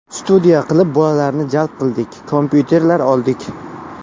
Studiya qilib bolalarni jalb qildik, kompyuterlar oldik.